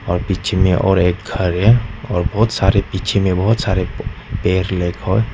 और पीछे में और एक घर है और बहोत सारे पीछे में बहोत सारे और और एअर लाइक अ हॉट --